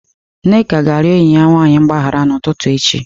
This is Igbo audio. Nneka ga-arịọ enyi ya nwanyị mgbaghara n'ụtụtụ echi.